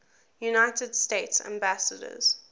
united states ambassadors